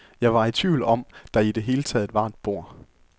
Jeg var i tvivl om, der i det hele taget var et bord.